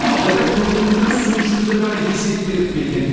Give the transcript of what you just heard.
алайда көп өңірлер сөз жүзінде ғана есеп беріп келген